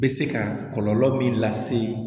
Bɛ se ka kɔlɔlɔ min lase